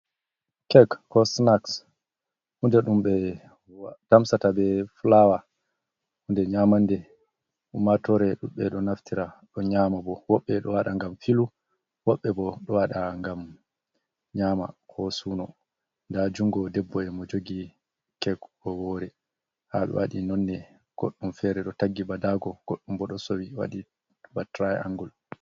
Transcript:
Kek ko sinaks hunde ɗum ɓe tamsata be fulawa, hunde nyamande ummatoore ɗuuɗɓe, ɗo naftira ɗo nyaama bo. Woɓɓe ɗo waɗa ngam filu, woɓɓe bo ɗo waɗa ngam nyaama ko suuno. Ndaa junngo debbo e mo jogi kek wowore, haa ɗo waɗi nonne, goɗɗum feere ɗo taggi ba daago, goɗɗum bo ɗo sowi waɗi ba tiray angul.